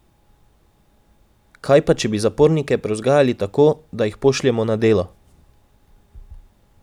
Kaj pa če bi zapornike prevzgajali tako, da jih pošljemo na delo?